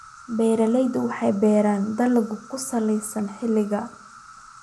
Beeraleydu waxay beeraan dalagyo ku salaysan xilliga.